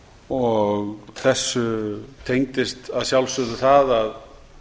og þessu tengdist að sjálfsögðu það að